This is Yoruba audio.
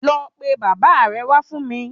Lọ pe Baba re wá fún mi